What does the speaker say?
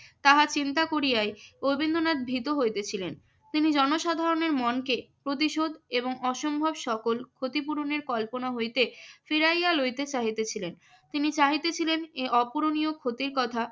তাহা চিন্তা করিয়াই রবীন্দ্রনাথ ভীত হইতেছিলেন। তিনি জনসাধারণের মনকে প্রতিশোধ এবং অসম্ভব সফল ক্ষতিপূরণের কল্পনা হইতে ফিরাইয়া লইতে চাহিতেছিলেন। তিনি চাহিতেছিলেন এ অপূরণীয় ক্ষতির কথা